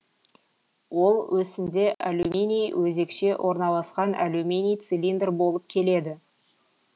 ол өсінде алюминий өзекше орналаскан алюминий цилиндр болып келеді